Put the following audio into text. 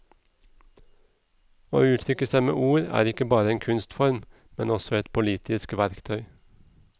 Å uttrykke seg med ord er ikke bare en kunstform, men også et politisk verktøy.